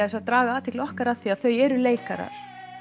athygli okkar á því að þau eru leikarar